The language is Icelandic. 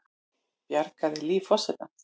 Bjargaði lífi forsetans